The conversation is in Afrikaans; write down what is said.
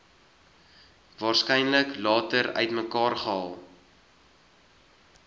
waarskynlik later uitmekaargehaal